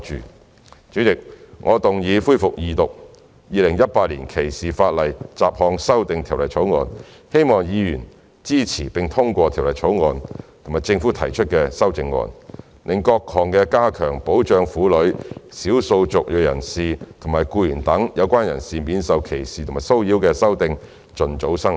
代理主席，我動議恢復二讀《條例草案》，希望議員支持並通過《條例草案》及政府提出的修正案，讓各項加強保障婦女、少數族裔人士及僱員等有關人士免受歧視和騷擾的修訂盡早生效。